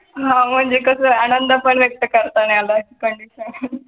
म्हणजे कसंय आनंद पण व्यक्त करता नाही आला. condition